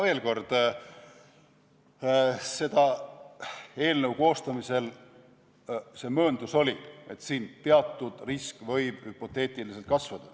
Veel kord: selle eelnõu koostamisel see mööndus oli, et teatud risk võib hüpoteetiliselt kasvada.